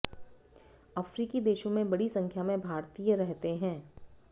अफ्रीकी देशों में बड़ी संख्या में भारतीय रहते हैं